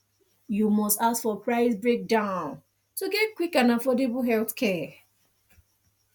you must ask for price breakdown to get quick and affordable healthcare